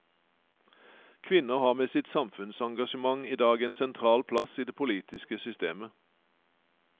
Kvinner har med sitt samfunnsengasjement i dag en sentral plass i det politiske systemet.